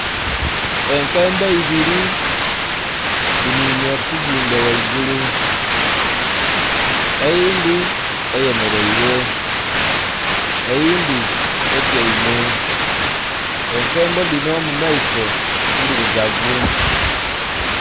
Enkembo ibiri dhininhye ku kizimbe ghaigulu eyindhi eyemereire eyindhi etyaime enkembo dhinho mu maiso ndhirugavu.